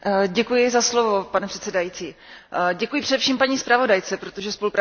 Pane předsedající, děkuji především paní zpravodajce, protože spolupráce byla výborná.